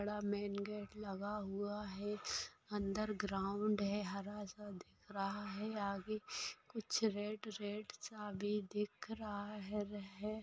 बड़ा main gate लगा हुआ है अंदर ग्राउंड है हरा सा दिख रहा है आगे कुछ रेड-रेड सा भी दिख रहा है।